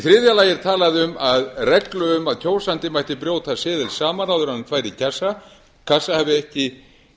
þriðja lagi er talað um að reglu um að kjósandi mætti brjóta seðil saman áður en hann færi í kassa hafi ekki